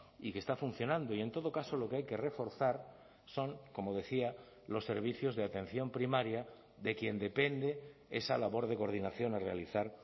y que está funcionando y en todo caso lo que hay que reforzar son como decía los servicios de atención primaria de quien depende esa labor de coordinación a realizar